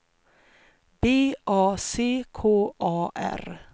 B A C K A R